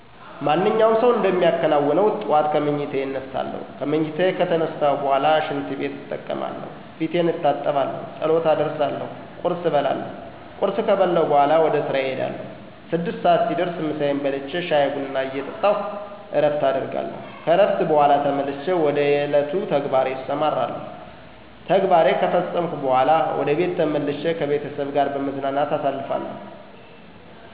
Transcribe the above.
ማንኛውም ሰው እንደሚከናውነው ጠዋት ከምኝታየ እነሳለሁ። ከምኝታየ ከተነሳሁ በኋላ ሽንትቤት እጠቀማለሁ፣ ፊቴን እታጠባለሁ፣ ጸሎት አደርሳለሁ፣ ቁርስ እበላለሁ። ቁርስ ከበላሁ በኋላ ወደ ስራየ እሄዳለሁ። ስድስት ሰዓት ሲደርስ ምሳየን በልቼ ሻይ ቡና እየጠጣሁ እረፍት አደርጋለሁ። ከእረፍት በኋላ ተመልሼ ወደ የዕለቱ ተግባሬ እሰማራለሁ። ተግባሬ ከፈፀመኩ በኋላ ወደ ቤቴ ተመልሼ ከቤተሰብ ጋር በመዝናናት አሳልፋለሁ።